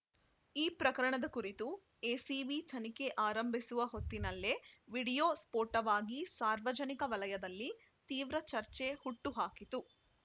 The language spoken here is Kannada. ಈ ಪ್ರಕರಣದ ಕುರಿತು ಎಸಿಬಿ ತನಿಖೆ ಆರಂಭಿಸುವ ಹೊತ್ತಿನಲ್ಲೇ ವಿಡಿಯೋ ಸ್ಫೋಟವಾಗಿ ಸಾರ್ವಜನಿಕ ವಲಯದಲ್ಲಿ ತೀವ್ರ ಚರ್ಚೆ ಹುಟ್ಟು ಹಾಕಿತು